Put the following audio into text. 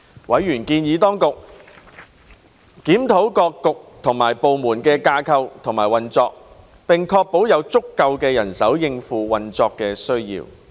委員建議當局檢討各政策局及部門的架構和運作，並確保有足夠人手應付運作需要。